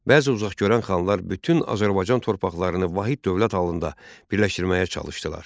Bəzi uzaq görən xanlar bütün Azərbaycan torpaqlarını vahid dövlət halında birləşdirməyə çalışdılar.